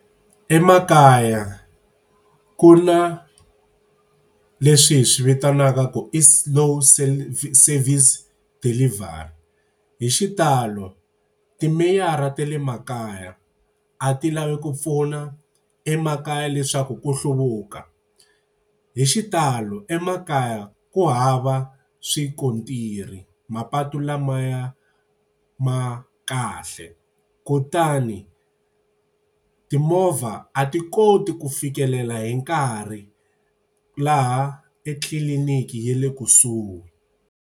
Emakaya ku na leswi hi swi vitanaka ku i slow service delivery. Hi xitalo timeyara ta le makaya a ti lavi ku pfuna emakaya leswaku ku hluvuka. Hi xitalo emakaya ku hava swikontiri, mapatu lamaya ma kahle. Kutani timovha a ti koti ku fikelela hi nkarhi laha etliliniki ye le kusuhi.